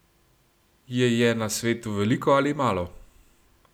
Je je na svetu veliko ali malo?